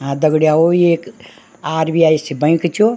हाँ दगडीयाओं ये एक आर.बी.आई. सी बैंक च यो।